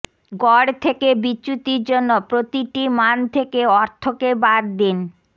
গড় থেকে বিচ্যুতির জন্য প্রতিটি মান থেকে অর্থকে বাদ দিন